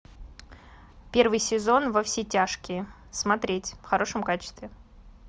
первый сезон во все тяжкие смотреть в хорошем качестве